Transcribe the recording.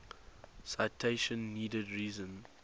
citation needed reason